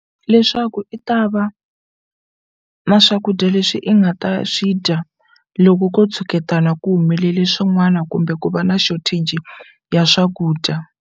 Leswaku i ta va na swakudya leswi i nga ta swi dya loko ko tshuketana ku humelele swin'wana kumbe ku va na shortage ya swakudya.